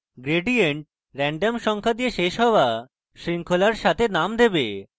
gradient random সংখ্যার দিয়ে শেষ হওয়া শৃঙ্খলার সাথে name দেবে